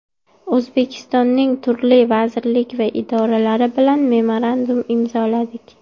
O‘zbekistonning turli vazirlik va idoralari bilan memorandum imzoladik .